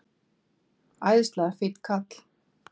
Æðislega fínn kall.